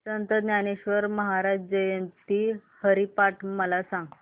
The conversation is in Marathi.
संत ज्ञानेश्वर महाराज जयंती हरिपाठ मला सांग